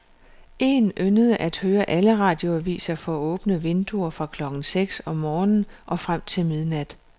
Én yndede at høre alle radioaviser for åbne vinduer fra klokken seks om morgenen og frem til midnat.